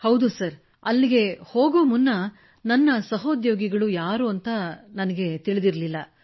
ಹೌದು ಸರ್ ಅಲ್ಲಿಗೆ ಹೋಗುವ ಮುನ್ನ ನನ್ನ ಸಹೋದ್ಯೋಗಿಗಳು ಯಾರೆಂದು ತಿಳಿದಿರಲಿಲ್ಲ